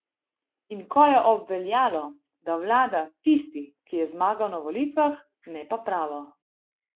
In ko je obveljalo, da vlada tisti, ki je zmagal na volitvah, ne pa pravo.